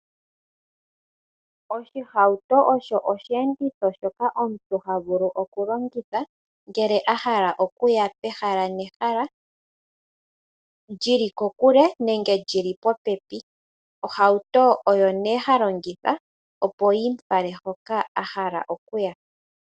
Aantu momikunda ohay longitha iiyenditho yomaludhi gayooloka ngaashi iitukutuku. Ohayi longithwa okutumba iinima oyindji nenge iidhigu oshinano oshile.